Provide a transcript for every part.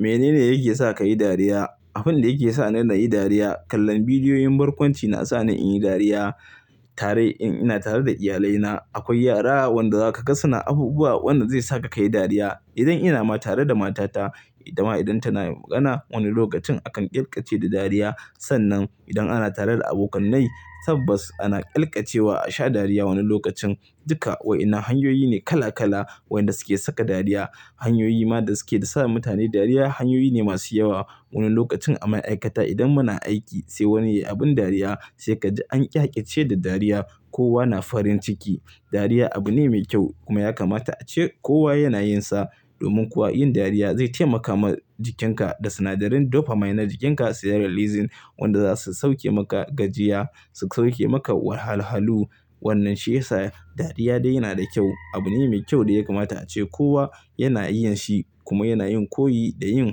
Menene yake sa ka yi dariya? Abin da yake sa ni na yi dariya, kallon bidiyoyin barkwanci na sa ni in yi dariya. Tare in ina tare da iyalaina, akwai yara wanda za ka gasa na abubuwa wanda zai sa ka kayi dariya. Idan ina ma tare da matata, itama idan tana magana wani lokacin akan ƙyalƙyace da dariya. Sannan idan ana tare da abokanai, tabbas ana ƙyalƙacewa a sha dariya wani lokacin. Duka wa ina hanyoyi ne kala kala wanda suke saka dariya. Hanyoyi ma da suke da sa mutane dariya hanyoyi ne masu yawa. Wani lokacin a ma'aikata idan muna aiki sai wani yayi abin dariya sai kaji an ƙyakƙyace da dariya, kowa na farin ciki. Dariya abu ne mai kyau kuma ya kamata ace kowa yana yin sa. Domin kuwa yin dariya zai taimaka ma jikinka da sinadarin dopamine na jikinka serotonin wanda zasu sauke maka gajiya, su sauke maka wahalhalu. Wannan shi yasa dariya dai yana da kyau. Abu ne mai kyau da ya kamata ace kowa yana yin shi kuma yana yin koyi da yin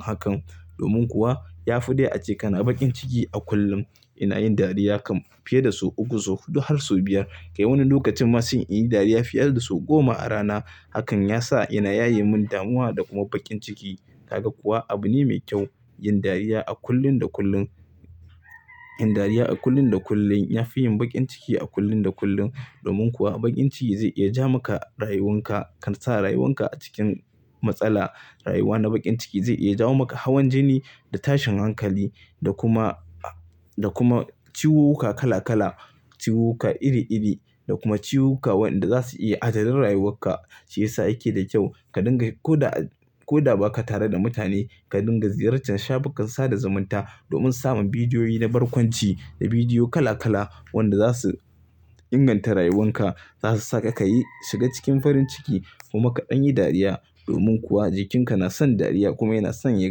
hakan. Domin kuwa ya fi dai ace kana baƙin ciki a kullum. Ina yin dariya kam fiye da su uku, su huɗu har su biyar. Kai wani lokacin ma sai in yi dariya fiye da su goma a rana. Hakan ya sa ina yayi min damuwa da kuma baƙin ciki. Haka kuwa abu ne mai kyau yin dariya a kullun da kullun. Yin dariya a kullun da kullun ya fi yin baƙin ciki a kullun da kullun. Domin kuwa baƙin ciki zai iya ja maka rayuwanka kan sa rayuwanka a cikin matsala. Rayuwa na baƙin ciki zai iya jawo maka hawan jini da tashin hankali da kuma, da kuma ciwuka kala kala, ciwuka iri iri da kuma ciwuka wanda zasu iya adadin rayuwarka. Shi yasa yake da kyau ka dinga ko da, ko da ba ka tare da mutane ka dinga ziyartar shafukan sada zumunta domin samun bidiyoyi na barkwanci, da bidiyo kala kala wanda za su inganta rayuwanka. Zasu saka ka yi shiga cikin farin ciki kuma kaɗan yi dariya. Domin kuwa jikinka na son dariya kuma yana son ya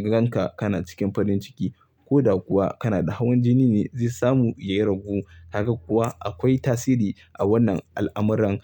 ga ka kana cikin farin ciki. Ko da kuwa kana da hawan jini ne zai samu iya ragu. Haka kuwa akwai tasiri a wannan al'amuran.